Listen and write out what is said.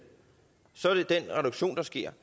ikke